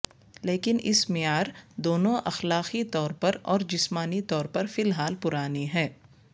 لیکن اس معیار دونوں اخلاقی طور پر اور جسمانی طور پر فی الحال پرانی ہے